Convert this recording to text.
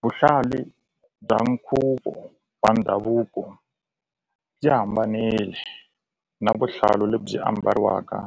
Vuhlali bya nkhuvo wa ndhavuko byi hambanile na vuhlalu lebyi ambariwaka